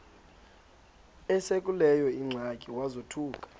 esekuleyo ingxaki wazothuka